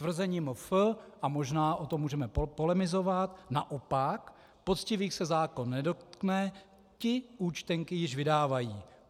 Tvrzení MF, a možná o tom můžeme polemizovat: Naopak, poctivých se zákon nedotkne, ti účtenky již vydávají.